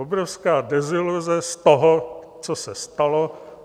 Obrovská deziluze z toho, co se stalo.